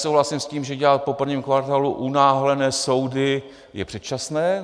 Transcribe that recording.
Souhlasím s tím, že dělat po prvním kvartálu unáhlené soudy je předčasné.